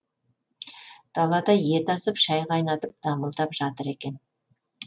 далада ет асып шай қайнатып дамылдап жатыр екен